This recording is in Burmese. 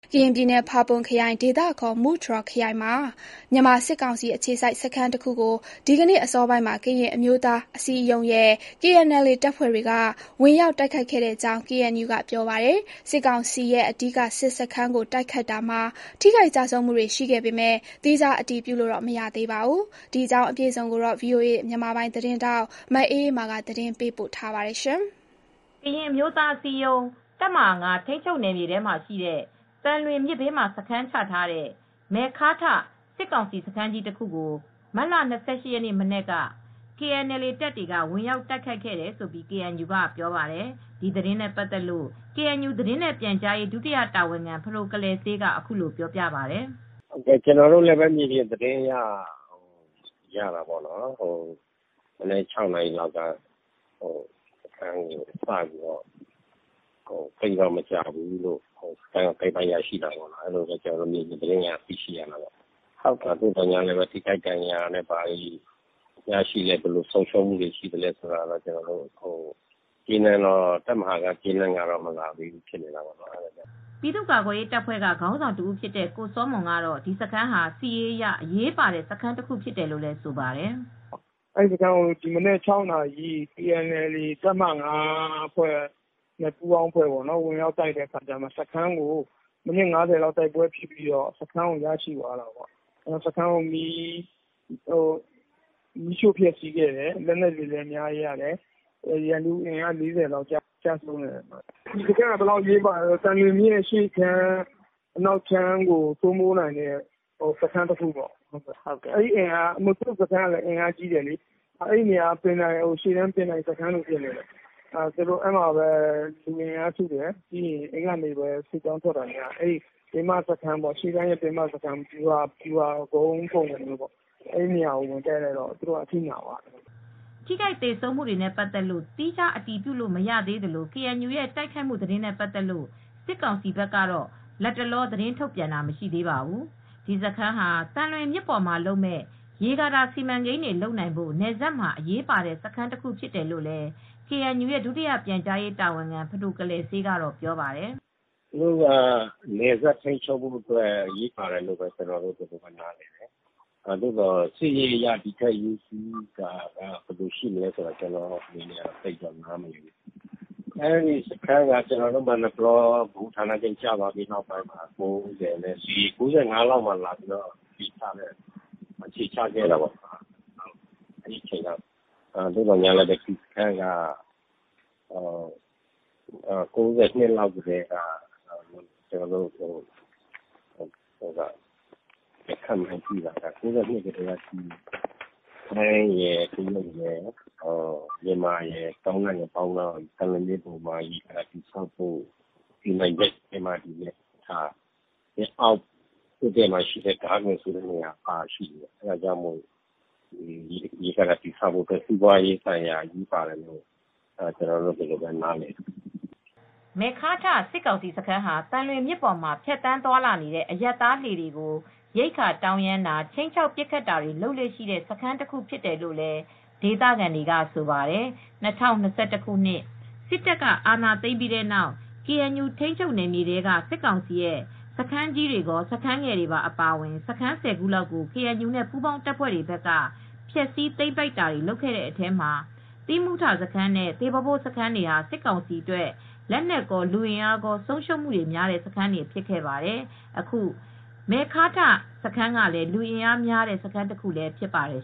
ကရင်ပြည်နယ် ဖာပွန်ခရိုင်၊ ဒေသအခေါ် မူတြော်ခရိုင်မှာ မြန်မာစစ်ကောင်စီ အခြေစိုက်စခန်းခုကို ဒီကနေ့ အစောပိုင်းမှာ ကရင်အမျိုးသား အစည်းအရုံးရဲ့ KNLA တပ်ဖွဲ့တွေက ဝင်ရောက်တိုက်ခိုက်ခဲ့ကြောင်း KNU ကပြောပါတယ်။ စစ်ကောင်စီရဲ့ အဓိက စစ်စခန်းကို တိုက်ခိုက်မှုမှာ ထိခိုက်ကျဆုံးမှုတွေရှိခဲ့ပေမယ့် သီးခြားအတည်ပြုလို့တော့ မရသေးပါဘူး။ အပြည့်အစုံကိုတော့ ဗွီအိုအေ မြန်မာပိုင်း သတင်းထောက် မအေးအေးမာကသတင်းပေးပို့ထားပါတယ်။ ကရင်အမျိုးသားအစည်းအရုံး တပ်မဟာ ထိန်းချုပ်နယ်မြေထဲမှာရှိတဲ့ သံလွင်မြစ်ဘေးမှာစခန်းချထားတဲ့ မယ်ခါးထာ့ စစ်ကောင်စီစခန်းကြီးတခုကို မတ်လ ၂၈ရက်နေ့မနက်က KNLA တပ်တွေက ဝင်ရောက်တိုက်ခိုက်ခဲ့တယ်လို့ KNU က ပြောပါတယ်။ ဒီသတင်းနဲ့ပတ်သက်လို့ ကေအန်ယူ သတင်းနဲ့ပြန်ကြားရေးဒုတိယတာဝန်ခံဖဒိုကလယ်စေးက အခုလိုပြောပြပါတယ်။ "ကျနော်တို့လည်းမြေပြင်သတင်းရရှိတာပေါ့နော် စခန်းကို မနက် ၆နာရီလောက်စပြီးတိုက်ခဲ့တယ်။ သိပ်တော့မကြာဘူး စခန်းကိုသိမ်းပိုက်ရရှိခဲ့တယ်ပေါ့နော်၊ မြေပြင်သတင်းက နေသိရတယ် အဲဒီမှာဘယ်လို့ထိခိုက်သေဆုံးမူတွေရှိတယ် လက်နက်တွေရရှိတယ်ဆိုတာကိုတော့ သေချာမသိရသေးဘူး တပ်မဟာ က သတင်းမပို့လာသေးပါဘူး" ပြည်သူ့ကာကွယ်ရေးတပ်ဖွဲ့ကခေါင်းဆောင်တဦးဖြစ်တဲ့ကိုစောမွန်ကတော့ ဒီစခန်းဟာစစ်ရေးအရ အရေးပါတဲ့ စခန်းတခုဖြစ်တယ်လို့ဆိုပါတယ်။ "အဲဒီ စခန်းကို ကေအန်အယ်လေ်အေ တပ်မဟာ နဲ့ ပူးပေါင်းတပ်ဖွဲ့တွေက မနက် ၆နာရီလောက်မှာဝင်တိုက်တယ် အဲဒီမှာ စခန်းကို ိမိနစ် ၅၀လောက် တိုက်ပွဲဖြစ်ပြီး စခန်းကိုရရှိတယ်။ စခန်းကို မီးရှို့ခဲ့တယ်။ စခန်းကိုဖျက်ဆီးခဲ့တယ်။ လက်နက်တွေလည်းအများကြီးရတယ်။ ပြီးတော့ ရန်သူလူ၄၀လောက်လည်းကျတယ်၊ဒီစခန်းဟာဘယ်လောက်အရေးပါလဲဆိုရင် သံလွင်မြစ်အရှေ့ခြမ်းကော အနောက်ခြမ်းကိုကောစိုးမိုးထိန်းချုပ်နိုင်တဲ့စခန်းတခုပေါ့နော်၊ သူတို့စခန်းက အင်အားကြီးတယ် ၊သူတို့စခန်းကနေ လူအင်အားစုတယ် ရှေ့တန်းထွက်တယ် ရှေ့တန်းက ပင်မစခန်း ဗျူဟာကုန်းလို ဖြစ်နေတယ်၊ အဲဒီ နေရာကို ဝင်တိုက်လိုက်တော့သူတို့အထိနာသွားတယ်" ထိခိုက်သေဆုံးမှုတွေနဲ့ ပတ်သက်လို့ သီးခြား အတည်ပြုလို့မရသေးသလို၊ KNU ရဲ့ တိုက်ခိုက်မှု သတင်းနဲ့ ပတ်သက်လို့ စစ်ကောင်စီဖက်ကတော့ လတ်တလော သတင်းထုတ်ပြန်တာ မရှိပါဘူး။ ဒီစခန်းဟာသံလွင်မြစ်ပေါ်မှာလုပ်မယ့်ရေကာတာစီမံကိန်းတွေလုပ်နိုင်ဖို့နယ်စပ်မှာအရေးပါတဲ့စခန်းတခုဖြစ်တယ်လို့ကေအန်ယူရဲ့ဒုတိယပြန်ကြားရေးတာဝန်ခံ ဖဒိုကလယ်စေးကတော့ပြောပါတယ်။ "သူတို့အဲဒီ စခန်းက နယ်စပ်ကိုထိန်းချုပ်ဖို့တော့အရေးပါတယ်လို့နားလည်တယ် စစ်ရေးအရတော့ ဘယ်လောက်အရေးပါလဲဆိုတာ ကျနော်သိပ်တော့မသိဘူး။ ကျနော်တို့မာနယ်ပလောကျပြီးတဲ့နောက် ၁၉၉၅ခုနှစ်လောက်မှာသူတို့က အခြေချခဲ့တာပေါ့နော် -၁၉၉၂ခုနှစ်လောက်ကတည်းက ထိုင်းရယ် မြန်မာရယ် တရုတ်ရယ်ပေါင်းပြီး အဲဒီ နေရာမှာသံလွင်မြစ်ပေါ်မှာရေကာတာစီမံကိန်းလုပ်ဖို့စီစဉ်တယ်။ အောက်မှာ ဒါးဂွင်ဆိုတာပါရှိတယ်။ ရေကာတာတည်ဆောက်ဖို့အတွက် စီးပွားရေးအရ အရေးပါတယ်လို့ကျနော်တို့ယူဆတယ်။" မယ်ခါးထာ့ စစ်ကောင်စီစခန်းဟာ သံလွင်မြစ်ပေါ်မှာဖြတ်သန်းသွာလာနေတဲ့ အရပ်သားလှေတွေကို ရိက္ခာတောင်းရမ်းတာ ခြိမ်းခြောက်ပစ်ခတ်တာတွေ လုပ်လေ့ရှိတဲ့စခန်းတခုဖြစ်တယ်လို့ဒေသခံတွေကတော့ဆိုပါတယ်။ ၂၀၂၁ ခုနှစ်စစ်တပ်အာဏာသိမ်းပြီးနောက် ကေအန်ယူထိန်းချုပ်နယ်မြေတွေထဲက စစ်ကောင်စီရဲ့စခန်း ကြီးတွေကောစခန်းငယ်တွေပါအပါအဝင်စခန်း ဆယ်ခုလောက်ကို ကေအန်ယူနဲ့ ပူးပေါင်းတပ်ဖွဲ့တွေဘက်က ဖျက်ဆီးသိမ်းပိုက်တာတွေလုပ်ခဲ့တဲ့အထဲမှာ သီးမူးထာစခန်းနဲ့သေဘောဘိုးစခန်းတွေဟာ စစ်ကောင်စီအတွက် လက်နက်ကောလူအင်အားကောဆုံးရှုံးမူတွေများတဲ့စခန်းတွေဖြစ်ခဲ့ပါတယ်။ အခု မယ်ခါးထာ့စခန်းကလည်း အင်အားများတဲ့စခန်းတခုလည်းဖြစ်ပါတယ်